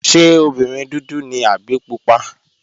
Ṣé obìnrin dúdú ni àbí pupa?